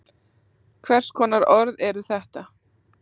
Hvers konar orð eru þetta?